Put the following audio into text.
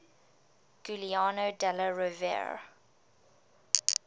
giuliano della rovere